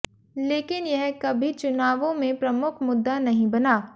लेकिन यह कभी चुनावों में प्रमुख मुद्दा नहीं बना